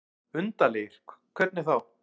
Undarlegir. hvernig þá?